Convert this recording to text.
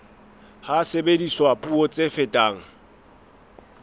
ha sebediswa puo tse fetang